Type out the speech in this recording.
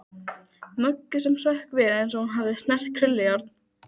Möggu sem hrökk við eins og hún hefði snert krullujárn.